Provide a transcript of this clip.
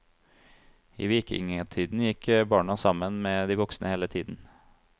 I vikingtiden gikk barna sammen med de voksne hele tiden.